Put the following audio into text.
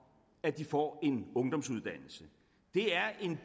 at de får en ungdomsuddannelse det er en